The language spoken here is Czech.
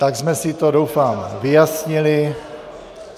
Tak jsme si to, doufám, vyjasnili.